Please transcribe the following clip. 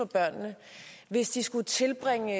børnene hvis de skulle tilbringe